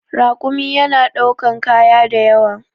Rakumi yana ɗaukan kaya da yawa.